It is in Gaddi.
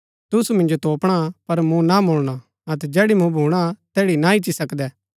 तुसु मिन्जो तोपणा पर मुँ ना मुलणा अतै जैड़ी मुँ भूणा तैड़ी ना ईच्ची सकदै